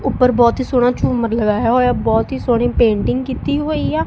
ਊਪਰ ਬਹੁਤ ਹੀ ਸੋਹਣਾ ਝੂਮਰ ਲਗਾਇਆ ਹੋਇਆ ਬਹੁਤ ਹੀ ਸੋਹਣੀ ਪੇਂਟਿੰਗ ਕੀਤੀ ਹੋਈ ਆ।